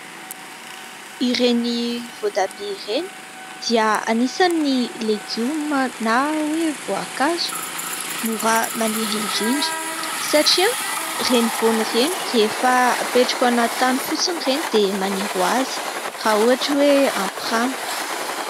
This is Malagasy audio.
Ireny voatabia ireny dia anisany legioma na hoe voankazo mora maniry indrindra ; satria ireny voany ireny rehefa apetraka ao anaty tany fotsiny ireny dia maniry ho azy raha ohatra hoe ampy rano.